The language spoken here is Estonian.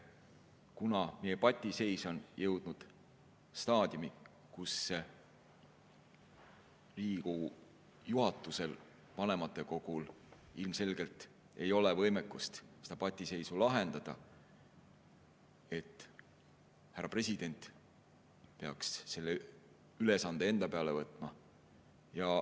Kuna meie patiseis on jõudnud staadiumi, kus Riigikogu juhatusel ja vanematekogul ei ole ilmselgelt võimekust seda patiseisu lahendada, siis peaks härra president selle ülesande enda peale võtma.